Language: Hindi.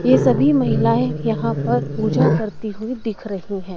ये सभी महिलाएं यहां पर पूजा करती हुई दिख रही हैं।